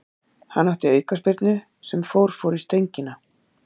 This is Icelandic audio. Hann átti aukaspyrnu sem fór fór í stöngina.